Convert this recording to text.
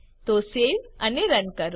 તો સેવ અને રન કરો